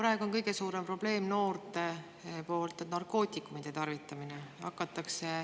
Praegu on noorte puhul kõige suurem probleem narkootikumide tarvitamine.